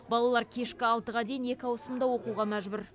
балалар кешкі алтыға дейін екі ауысымда оқуға мәжбүр